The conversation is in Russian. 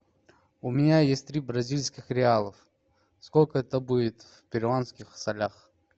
у меня есть три бразильских реалов сколько это будет в перуанских солях